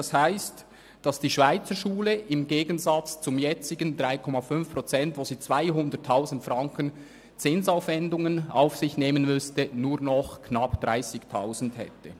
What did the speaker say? Das heisst, dass die Schweizerschule im Gegensatz zum jetzigen Zustand, wo sie bei 3,5 Prozent 200 000 Franken Zinsaufwendungen auf sich nehmen müsste, nur noch knapp 30 000 Franken Zinsaufwendungen hätte.